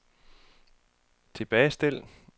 tilbagestil